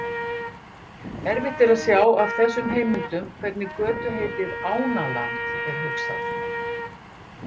Erfitt er að sjá af þessum heimildum hvernig götuheitið Ánaland er hugsað.